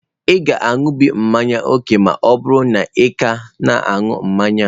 Ị ga-aṅụbiga mmanya ókè ma ọ bụrụ na ị ka na-aṅụ mmanya a.